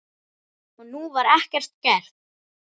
Og nú var ekkert gert.